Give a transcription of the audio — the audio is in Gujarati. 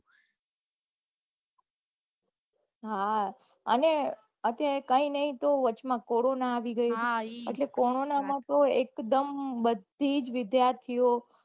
હા અને અત્યારે કઈ ની તો વચ્ચે માં કોરોના આવી ગયો એટલે કોરોના માં એક દમ બઘી જ વિઘાર્થી ઓ